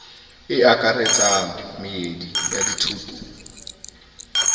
e akaretsang meedi ya dithuto